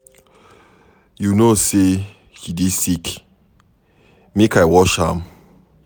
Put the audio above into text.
You know say she dey sick, make I wash am.